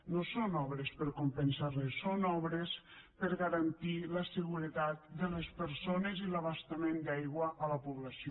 no són obres per compensar res són obres per garantir la seguretat de les persones i l’abastament d’aigua a la població